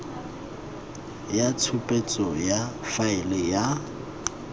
ya tshupetso ya faele ya